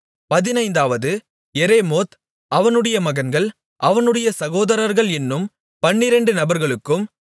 பதினைந்தாவது எரேமோத் அவனுடைய மகன்கள் அவனுடைய சகோதரர்கள் என்னும் பன்னிரெண்டு நபர்களுக்கும்